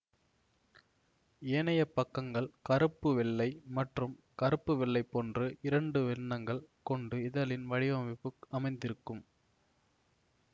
ஏனையப் பக்கங்கள் கருப்பு வெள்ளை மற்றும் கருப்பு வெள்ளை போன்று இரண்டு வண்ணங்கள் கொண்டு இதழின் வடிவமைப்பு அமைந்திருக்கும்